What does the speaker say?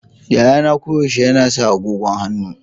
Yayana koyaushe yana sa agogon hannu.